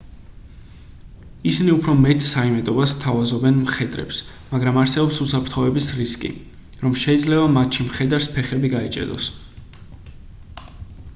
ისინი უფრო მეტ საიმედოობას სთავაზობენ მხედრებს მაგრამ არსებობს უსაფრთხოების რისკი რომ შეიძლება მათში მხედარს ფეხები გაეჭედოს